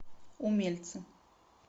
умельцы